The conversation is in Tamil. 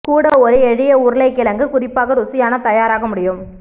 கூட ஒரு எளிய உருளைக்கிழங்கு குறிப்பாக ருசியான தயாராக முடியும்